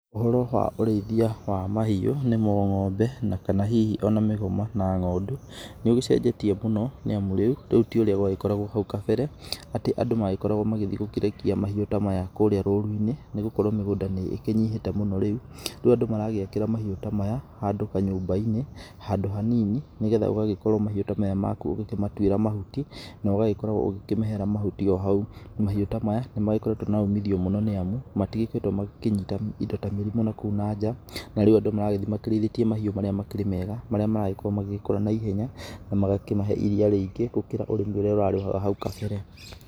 Ũhoro wa ũrĩithia wa mahiũ nĩmo ng'ombe na kana hihi ona mĩgoma na ng'ondũ nĩ ũcenjetie mũno nĩamu rĩu tiũrĩa gwagĩkoragwo hau kambere atĩ andũ magĩkoragwo magĩthiĩ gũkĩrekia mahĩu ta maya kũrĩa rũru-inĩ nĩ gũkorwo mĩgũnda nĩ ĩnyihĩte mũno rĩu, rĩu andũ maragĩakĩra mahiũ ta maya handũ kanyũmba-inĩ handũ hanini nĩgetha ũgagĩkorwo mahiũ ta maya maku ũgĩkĩmatuĩra mahuti na ũgagĩkoragwo ũgĩkĩmĩhera mahuti o hau ,mahiũ ta maya nĩ magĩkoretwo na umithio mũno nĩamu matigĩkoretwo makĩnyita indo ta mĩrimũ nakũu nanjaa na rĩu andũ maragĩthiĩ makĩrĩithĩtie mahiũ marĩa makĩrĩ mega marĩa maragĩkorwo magĩkũra naihenya na magakĩmahe iria rĩingĩ gũkĩra ũrĩmi ũrĩa ũrarĩ wa hau kambere.